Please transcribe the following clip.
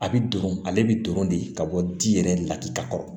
A bi don ale bi don de ka bɔ di yɛrɛ laki ka kɔrɔ